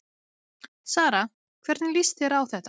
Sara, hvernig lýst þér á þetta?